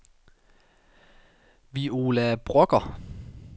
Viola Brøgger